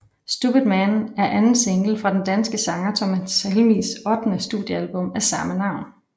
Stupid Man er anden single fra den danske sanger Thomas Helmigs ottende studiealbum af samme navn